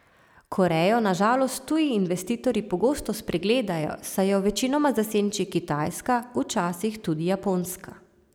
Korejo na žalost tuji investitorji pogosto spregledajo, saj jo večinoma zasenči Kitajska, včasih tudi Japonska.